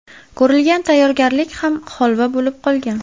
Ko‘rilgan tayyorgarlik ham holva bo‘lib qolgan.